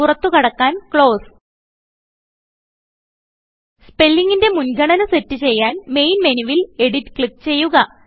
പുറത്തു കടക്കാൻ ക്ലോസ് സ്പെല്ലിങ്ങിന്റെ മുൻഗണന സെറ്റ് ചെയ്യാൻ മെയിൻ മെനുവിൽ എഡിറ്റ് ക്ലിക്ക് ചെയ്യുക